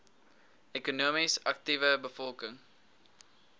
ekonomies aktiewe bevolking